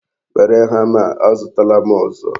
Were hama a, azutala m ọzọ.